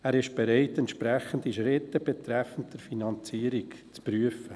Er ist bereit, entsprechende Schritte betreffend die Finanzierung zu prüfen.